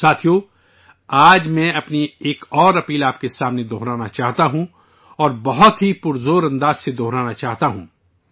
ساتھیو، آج میں اپنی ایک اور اپیل آپ کے سامنے دہرانا چاہتا ہوں اور بہت ہی مؤدبانہ طریقے سے دہرانا چاہتا ہوں